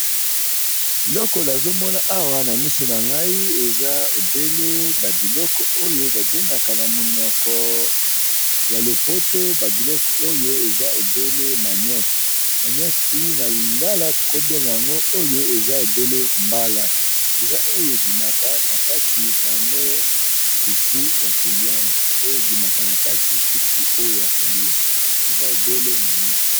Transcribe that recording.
Elokolo azomona awa na misu na ngai eza obele ba biloko oyo babengaka na monoko ya lopoto ba biloko oyo eza obele manioc, manioc oyo na lingala tokobenga yango oyo eza obele mbala eza oyo ebimaka na kati na ngo fufu ya koliamba oyo ebimaka na kati fufu oyo ya kolia eza obele manioke.